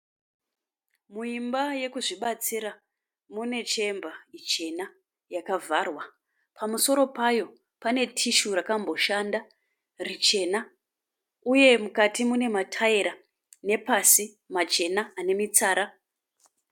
Muimba yekuzvibatsira, mune chemba chena yakavharwa. Pamusoro payo pane tissue rakamboshanda richena uye mukati mune mataira nepasi machena ane mitsara.